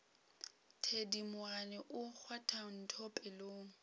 thedimogane o kgwatha ntho pelong